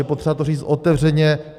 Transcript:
Je potřeba to říct otevřeně.